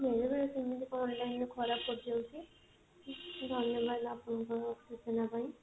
ବେଳେ ବେଳେ ଏମିତି କେମିତି online ରେ ଖରାପ ପଡିଯାଉଛି ଧନ୍ୟବାଦ ଆପଣଙ୍କୁ ସୂଚନା ପାଇଁ